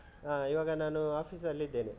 ಹಾ, ಇವಾಗ ನಾನು office ಅಲ್ಲಿದ್ದೇನೆ .